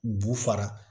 Bu fara